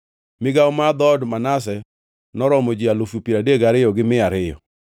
Migawo mar dhood Manase noromo ji alufu piero adek gariyo gi mia ariyo (32,200).